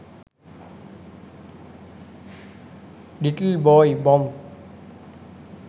little boy bomb